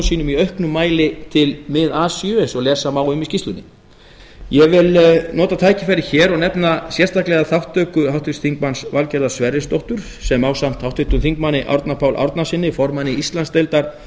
sínum í auknum mæli til mið asíu eins og lesa má um í skýrslunni ég vil nota tækifærið hér og nefna sérstaklega þátttöku háttvirts þingmanns valgerðar sverrisdóttur sem ásamt háttvirtum þingmanni árna páli árnasyni formanni íslandsdeildar